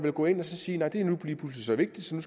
at gå ind at sige at det nu lige pludselig så vigtigt så